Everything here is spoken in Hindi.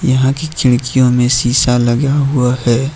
यहां की खिड़कियों में शीशा लगा हुआ है।